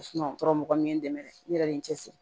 o kɔrɔ mɔgɔ min ye n dɛmɛ ne yɛrɛ ye n cɛsiri